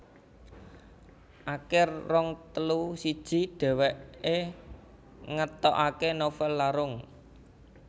Akir rong ewu siji dhèwèké ngetokaké novèl Larung